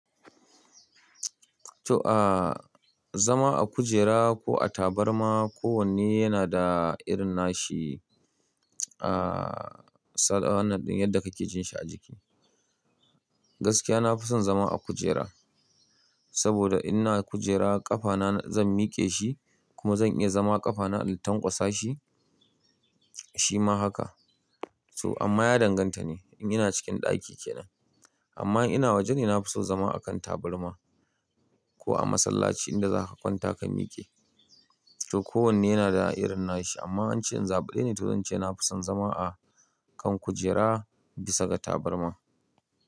To, ah zama a kujera ko a tabarma ko wanne yana da irin nashi, ah sadawar nan yadda kake jin shi a jiki. Gaskiya na fi son zama a kujera, saboda ina kujera ƙafana zan miƙe shi kuma zan iya zama ƙafana na tankwasa shi, shi ma haka. So amma ya danganta ne, in ina cikin ɗaki kenan. Amma ina waje dai na fi son zama a kan tabarma ko a masallaci inda za ka kwanta ka miƙe. To kowanne yana da irin nashi amma an ce in zaɓa dai na turo ce na fi son zama a kan kujera bisa ga tabarma.